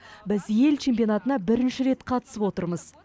біз ел чемпионатына бірінші рет қатысып отырмыз